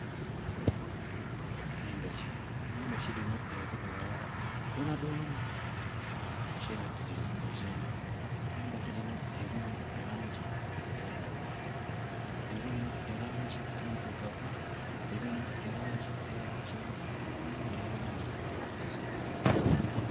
Endoki, endhoki dhino degemye ghalala dhonadoona, ekiri nti dhiri kumuzinga. Endoki dhino dhirimu erangi edendaghulo, dhirimu erangi endirugavu, dhirimu erangi eyakyenvu n'erangi eyakisiitaka.